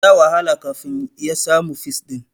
Ya wahala kafin ya samu fis ɗin.